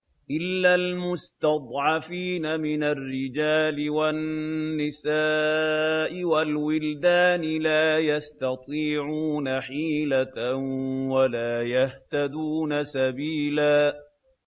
إِلَّا الْمُسْتَضْعَفِينَ مِنَ الرِّجَالِ وَالنِّسَاءِ وَالْوِلْدَانِ لَا يَسْتَطِيعُونَ حِيلَةً وَلَا يَهْتَدُونَ سَبِيلًا